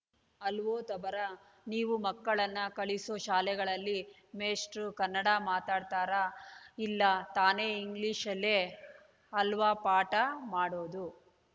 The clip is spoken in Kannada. ಅಲ್ವೋ ತಬರಾ ನೀವು ಮಕ್ಕಳನ್ನ ಕಳಿಸೋ ಶಾಲೆಗಳಲ್ಲಿ ಮೇಷ್ಟ್ರು ಕನ್ನಡ ಮಾತಾಡ್ತಾರಾ ಇಲ್ಲ ತಾನೇ ಇಂಗ್ಲಿಷಲ್ಲೇ ಅಲ್ವಾ ಪಾಠ ಮಾಡೋದು